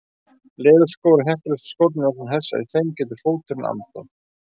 Leðurskór eru heppilegustu skórnir vegna þess að í þeim getur fóturinn andað.